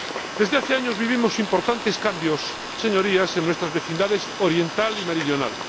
Desde hace años vivimos importantes cambios, Señorías, en nuestras vecindades oriental y meridional.